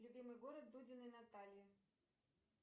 любимый город дудиной натальи